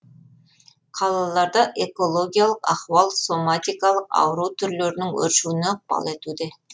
қалаларда экологиялық ахуал соматикалық ауру түрлерінің өршуіне ықпал етуде